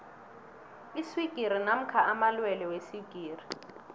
iswigiri namkha amalwelwe weswigiri